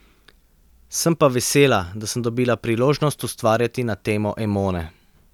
Sem pa vesela, da sem dobila priložnost ustvarjati na temo Emone.